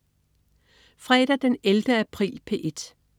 Fredag den 11. april - P1: